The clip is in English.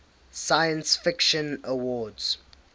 science fiction awards